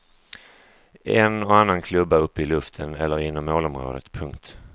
En och annan klubba uppe i luften eller inom målområdet. punkt